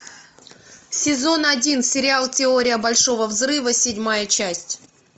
сезон один сериал теория большого взрыва седьмая часть